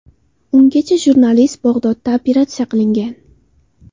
Ungacha jurnalist Bag‘dodda operatsiya qilingan.